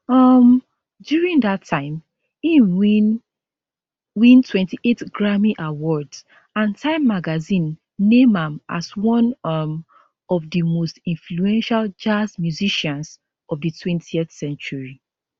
um during dat time im win win 28 grammy awards and time magazine name am as one um of di most influential jazz musicians of di 20th century